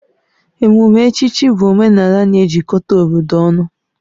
Emume echichi bụ omenala na-ejikọta obodo ọnụ